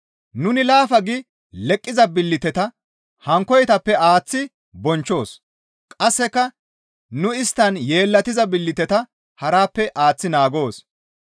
Nuni laafa gi leqqiza billiteta hankkoytappe aaththi bonchchoos; qasseka nu isttan yeellatiza billiteta harappe aaththi naagoos.